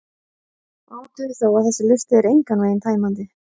Athugið þó að þessi listi er engan veginn tæmandi: